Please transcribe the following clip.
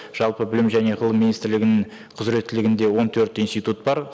жалпы білім және ғылым министрлігінің құзыреттілігінде он төрт институт бар